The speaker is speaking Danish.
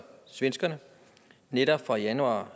svenskerne netop fra januar